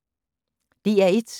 DR1